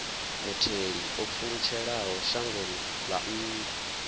mutheli o pfulutshelaho shangoni ḽa nnḓa